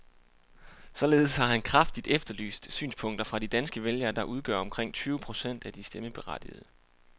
Således har han kraftigt efterlyst synspunkter fra de danske vælgere, der udgør omkring tyve procent af de stemmeberettigede.